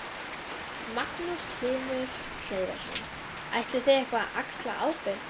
Magnús Hlynur Hreiðarsson: Ætlið þið eitthvað að axla ábyrgð?